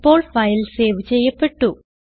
ഇപ്പോൾ file save ചെയ്യപ്പെട്ടു